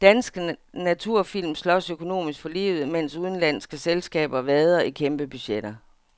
Danske naturfilm slås økonomisk for livet mens udenlandske selskaber vader i kæmpebudgetter.